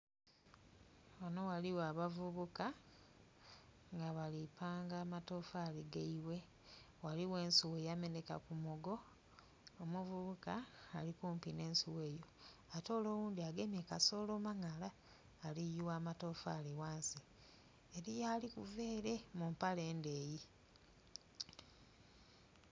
Ghanho ghaligho abavubuka nga bali panga amatafali gaibwe, ghaligho ensugha eyameneka ku mugo nga ghaligho omuvubuka ali kumpi n'ensugha eyo oghundhi gemye kasolo ali kuyigha amatafaali ghansi, eriyo ali kuva ere mu mpale endeyi.